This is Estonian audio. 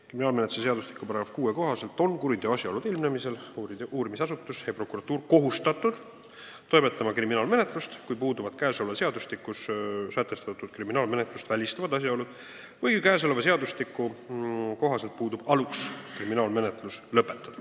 Kriminaalmenetluse seadustiku § 6 kohaselt on kuriteo asjaolude ilmnemisel uurimisasutus ja prokuratuur kohustatud toimetama kriminaalmenetlust, kui puuduvad selles seadustikus sätestatud kriminaalmenetlust välistavad asjaolud või kui selle seadustiku kohaselt puudub alus kriminaalmenetlus lõpetada.